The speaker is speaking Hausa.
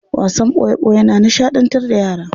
Wasan boye boye na nishadantar da yara.